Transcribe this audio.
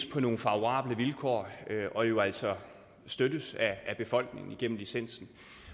på nogle favorable vilkår og jo altså støttes af befolkningen igennem licensen